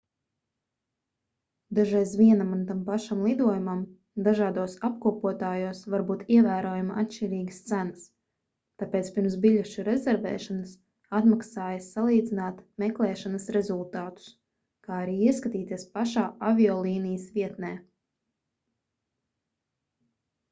dažreiz vienam un tam pašam lidojumam dažādos apkopotājos var būt ievērojami atšķirīgas cenas tāpēc pirms biļešu rezervēšanas atmaksājas salīdzināt meklēšanas rezultātus kā arī ieskatīties pašā aviolīnijas vietnē